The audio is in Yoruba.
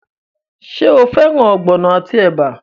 Ṣé o fẹ́ràn ogbono àti ẹ̀bà?